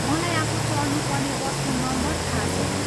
मलाई आफू चढ्नुपर्ने बसको नम्बर थाहा छैन।